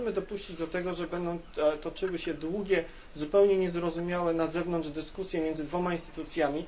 Nie możemy dopuścić do tego, żeby toczyły się długie, zupełnie niezrozumiałe na zewnątrz dyskusje między dwoma instytucjami.